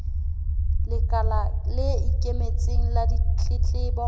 lekala le ikemetseng la ditletlebo